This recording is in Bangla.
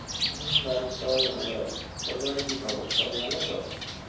হম বাড়ির সবাই ভালো আছে, তোর বাড়ির কি খবর, সবাই ভালো তো?